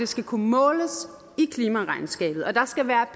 skal kunne måles i klimaregnskabet og der skal være